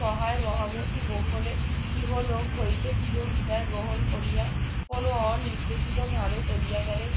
সহায় মহামতী গোকলে ইহলোক হইতে চিরবিদায় গ্রহণ করিয়া কোন অনির্দেশিতভাবে চলিয়া গেলেন